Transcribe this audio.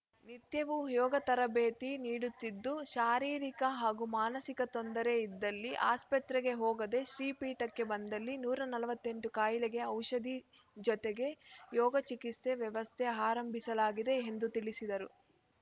ನಿತ್ಯವೂ ಯೋಗ ತರಬೇತಿ ನೀಡುತ್ತಿದ್ದು ಶಾರೀರಿಕ ಹಾಗೂ ಮಾನಸಿಕ ತೊಂದರೆ ಇದ್ದಲ್ಲಿ ಆಸ್ಪತ್ರೆಗೆ ಹೋಗದೆ ಶ್ರೀಪೀಠಕ್ಕೆ ಬಂದಲ್ಲಿ ನೂರ ನಲವತ್ತ್ ಎಂಟು ಕಾಯಿಲೆಗೆ ಔಷಧಿ ಜೊತೆಗೆ ಯೋಗ ಚಿಕಿತ್ಸೆ ವ್ಯವಸ್ಥೆ ಆರಂಭಿಸಲಾಗಿದೆ ಎಂದು ತಿಳಿಸಿದರು